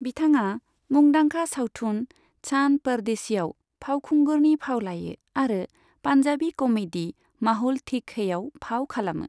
बिथाङा मुंदांखा सावथुन चान परदेसीआव फावखुंगुरनि फाव लायो आरो पान्जाबि कमेडी माहौल ठीक हैआव फाव खालामो।